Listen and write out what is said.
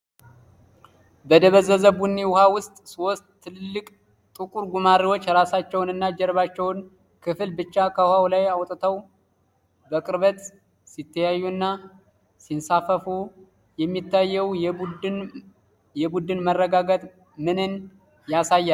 በደበዘዘ ቡኒ ውሃ ውስጥ፣ ሦስት ትልልቅ ጥቁር ጉማሬዎች ራሳቸውን እና የጀርባቸውን ክፍል ብቻ ከውሃው ላይ አውጥተው በቅርበት ሲተያዩና ሲንሳፈፉ የሚታየው የቡድን መረጋጋት ምንን ያሳያል?